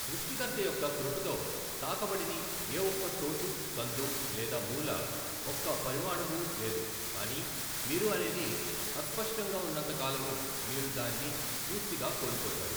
సృష్టికర్త యొక్క కృపతో తాకబడని ఏఒక్క చోటూ సందూ లేదా మూల ఒక్క పరమాణువూ లేదు కానీ మీరు అనేది అస్పష్టంగా ఉన్నంతకాలమూ మీరు దాన్ని పూర్తిగా కోల్పోతారు.